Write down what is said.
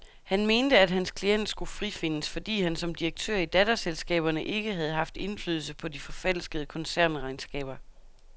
Han mente, at hans klient skulle frifindes, fordi han som direktør i datterselskaberne ikke havde ikke haft indflydelse på de forfalskede koncernregnskaber.